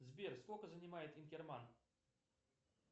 сбер сколько занимает инкерман